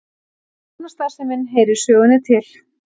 Lánastarfsemin heyrir sögunni til